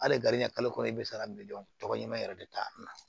Hali garidiɲɛ kalo i bɛ se ka miliyɔn tɔgɔ ɲuman yɛrɛ de ta